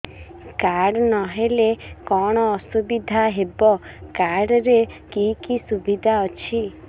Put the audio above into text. card ନହେଲେ କଣ ଅସୁବିଧା ହେବ କାର୍ଡ ରେ କି କି ସୁବିଧା ଅଛି